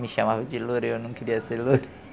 Me chamavam de loira e eu não queria ser loira.